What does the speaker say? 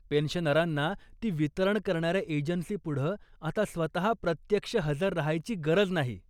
पेन्शनरांना ती वितरण करणाऱ्या एजन्सीपुढं आता स्वतः प्रत्यक्ष हजर राहायची गरज नाही.